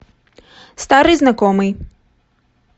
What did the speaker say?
старый знакомый